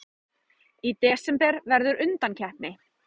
Í desember verður undankeppni.